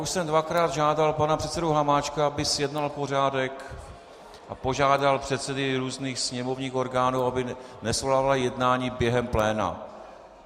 Už jsem dvakrát žádal pana předsedu Hamáčka, aby zjednal pořádek a požádal předsedy různých sněmovních orgánů, aby nesvolávali jednání během pléna.